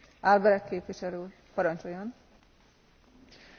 Frau Präsidentin, sehr geehrte Damen und Herren, sehr geehrte Kollegen!